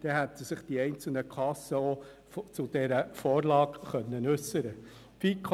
So hätten sich die einzelnen Kassen auch zu dieser Vorlage äussern können.